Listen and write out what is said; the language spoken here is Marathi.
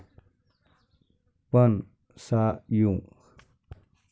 पण, सा. यु.